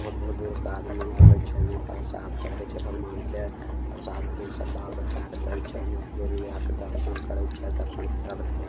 बहुत-बहुत दूर दूर के आदमी आवे छै यहाँ प्रसाद चड़वे छै भगवान के प्रसाद फेर बाल बच्चा के दे छै यहाँ देवी आर के दर्शन करे छै। दर्शन के बाद घर --